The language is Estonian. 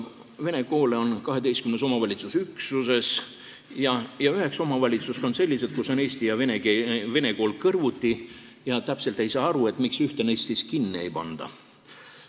Vene koole on 12 omavalitsusüksuses ja 9 omavalitsust on sellised, kus on eesti ja vene kool kõrvuti ning täpselt ei saa aru, miks ühte neist kinni ei panda.